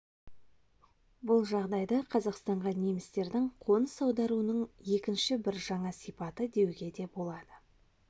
бұл жағдайды қазақстанға немістердің қоныс аударуының екінші бір жаңа сипаты деуге де болады